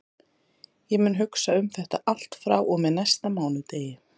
Ég mun hugsa um þetta allt frá og með næsta mánudegi.